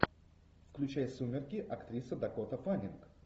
включай сумерки актриса дакота фаннинг